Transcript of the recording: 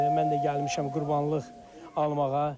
Mən də gəlmişəm qurbanlıq almağa.